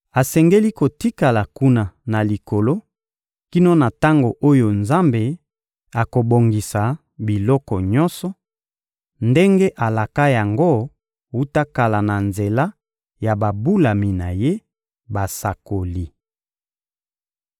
Asengeli kotikala kuna na Likolo kino na tango oyo Nzambe akobongisa biloko nyonso, ndenge alaka yango wuta kala na nzela ya babulami na Ye, basakoli.